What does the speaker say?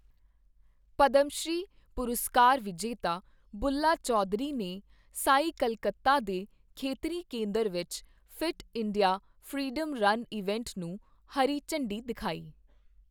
ਪਦਮਸ਼੍ਰੀ ਪੁਰਸਕਾਰ ਵਿਜੇਤਾ ਬੁੱਲਾ ਚੌਧਰੀ ਨੇ ਸਾਈ ਕੱਲਕੱਤਾ ਦੇ ਖੇਤਰੀ ਕੇਂਦਰ ਵਿੱਚ fit India freedom run event ਨੂੰ ਹਰੀ ਝੰਡੀ ਦਿਖਾਈ